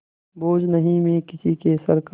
बोझ नहीं मैं किसी के सर का